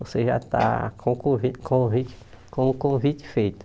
Você já está com o convite convite com o convite feito.